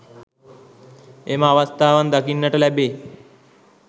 එම අවස්ථාවන් දකින්නට ලැබේ.